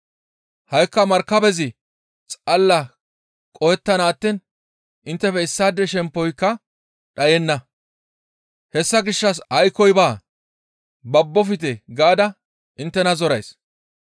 Ha7ikka markabezi xalla qohettana attiin inttefe issaade shemppoyka dhayenna; hessa gishshas aykkoy baa; babbofte gaada tani inttena zorays.